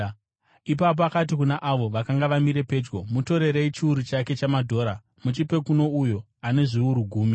“Ipapo akati kuna avo vakanga vamire pedyo, ‘Mutorerei chiuru chake chamadhora muchipe kuno uyo ane zviuru gumi.’